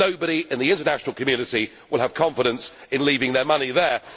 Nobody in the international community will have confidence in leaving their money there.